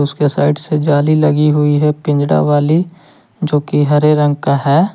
Side से जाली लगी हुई है पिंजड़ा वाली जो की हरे रंग का है।